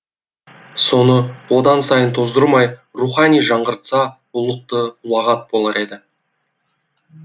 соны одан сайын тоздырмай рухани жаңғыртса ұлықты ұлағат болар еді